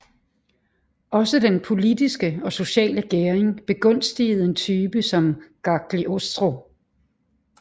Også den politiske og sociale gæring begunstigede en type som Cagliostro